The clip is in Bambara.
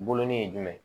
Bolonnin ye jumɛn ye